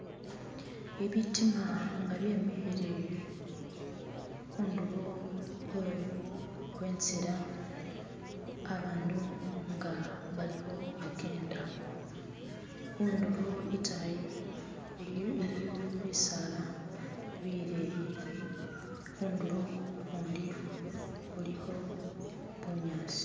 Ibitima nga byemikhile khundulo khwenzila abandu nga balikho bakenda, khundulo itayi iliyo bisala bileyi , khundulo ukhundi khulikho bunyasi.